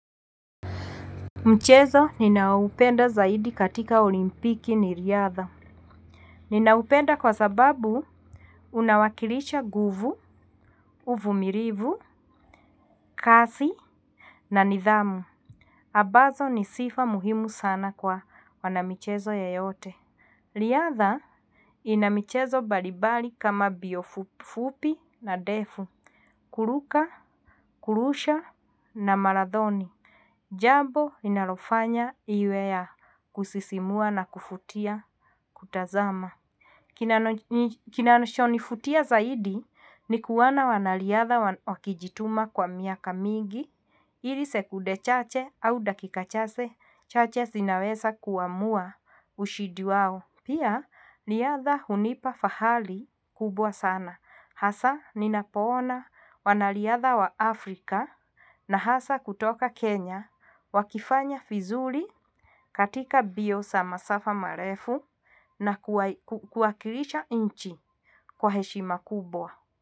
Mchezo ninaupenda zaidi katika olimpiki ni riadha. Ninaupenda kwa sababu unawakilisha nguvu, uvumilivu, kazi na nidhamu. Ambazo ni sifa muhimu sana kwa wana michezo yeyote. Riadha ina michezo mbalimbali kama mbio fupi na ndefu, kuruka, kurusha na marathoni. Jambo inalofanya iwe ya kusisimua na kuvutia kutazama. Kinanacho nivutia zaidi ni kuona wanariadha wakijituma kwa miaka mingi. Ili sekude chache au dakika chache chache zinaweza kuamua ushindi wao. Pia riadha hunipa fahali kubwa sana. Hasa ninapoona wanariadha wa Afrika na hasa kutoka Kenya wakifanya vizuri katika mbio za masafa marefu na kuwakilisha inchi kwa heshima kubwa.